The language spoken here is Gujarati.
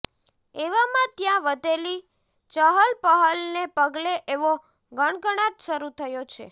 એવામાં ત્યાં વધેલી ચહલપહલને પગલે એવો ગણગણાટ શરૂ થયો છે